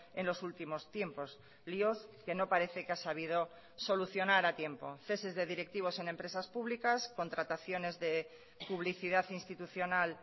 en los últimos tiempos líos que no parece que ha sabido solucionar a tiempo ceses de directivos en empresas públicas contrataciones de publicidad institucional